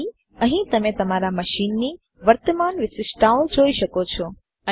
તેથી અહીં તમે તમારા મશીનની વર્તમાન વિશિષ્ટતાઓ જોઈ શકો છો